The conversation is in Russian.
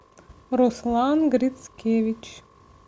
руслан грицкевич